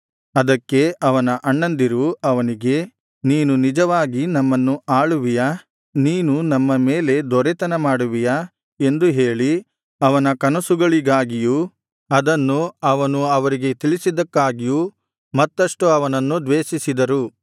ಅದಕ್ಕೆ ಅವನ ಅಣ್ಣಂದಿರು ಅವನಿಗೆ ನೀನು ನಿಜವಾಗಿ ನಮ್ಮನ್ನು ಆಳುವಿಯಾ ನೀನು ನಮ್ಮ ಮೇಲೆ ದೊರೆತನ ಮಾಡುವಿಯಾ ಎಂದು ಹೇಳಿ ಅವನ ಕನಸುಗಳಿಗಾಗಿಯೂ ಅದನ್ನು ಅವನು ಅವರಿಗೆ ತಿಳಿಸಿದ್ದಕ್ಕಾಗಿಯು ಮತ್ತಷ್ಟು ಅವನನ್ನು ದ್ವೇಷಿಸಿದರು